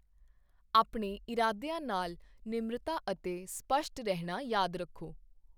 ਆਪਣੇ ਇਰਾਦਿਆਂ ਨਾਲ ਨਿਮਰਤਾ ਅਤੇ ਸਪੱਸ਼ਟ ਰਹਿਣਾ ਯਾਦ ਰੱਖੋ।